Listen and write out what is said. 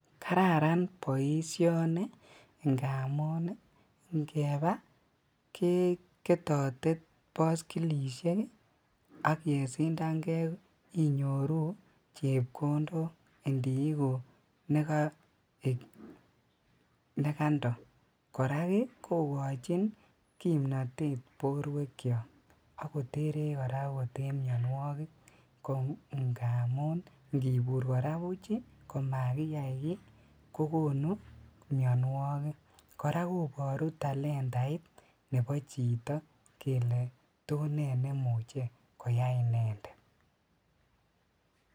Kararan boisioni ingamun inkebaa keketote boskilisiek ak ingesindangee inyoru chepkondok indiiguk nekando , korak kokojin kimnotet borwekchok ak koterech koraa okot en mionuokik ko ingamun ingibur koraa buch komakiyai kii kokonu mionuokik ,koraa koboru talentait nebo chito kele to nee nemuche koyai inendet .